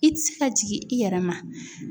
I tɛ se ka jigin i yɛrɛ ma.